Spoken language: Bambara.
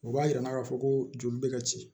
O b'a yira k'a fɔ ko joli bɛ ka ci